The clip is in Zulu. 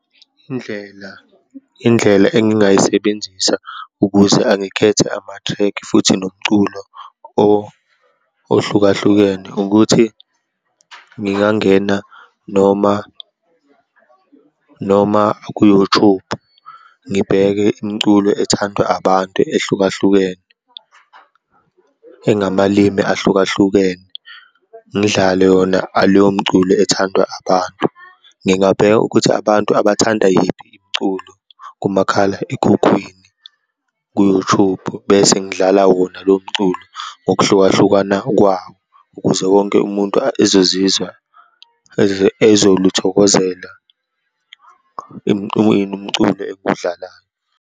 Indlela, indlela engingayisebenzisa ukuze angikhethe ama-track futhi nomculo ohlukahlukene ukuthi, ngingangena noma, noma ku-YouTube ngibheke imiculo ethandwa abantu ehlukahlukene, engamalini ahlukahlukene, ngidlale yona aleyo mculo ethandwa abantu. Ngingabheka ukuthi abantu abathanda yiphi imiculo kumakhalekhukhwini ku-YouTube bese ngidlala wona lomculo ngokuhlukahlukana kwawo, ukuze wonke umuntu ezozizwa, ezoluthokozela ini umculo engiwudlalayo.